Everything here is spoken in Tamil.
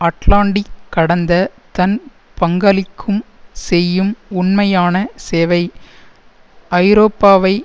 அட்லாண்டிக் கடந்த தன் பங்களிக்கும் செய்யும் உண்மையான சேவை ஐரோப்பாவை